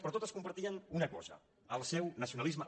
però totes compartien una cosa el seu nacionalisme